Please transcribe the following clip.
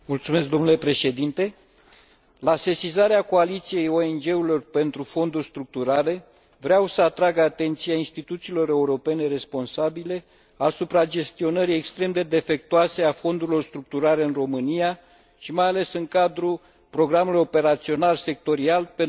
La sesizarea coaliției ONG urilor pentru fonduri structurale, vreau să atrag atenția instituțiilor europene responsabile asupra gestionării extrem de defectuoase a fondurilor structurale în România, mai ales în cadrul Programului Operațional Sectorial pentru dezvoltarea resurselor umane.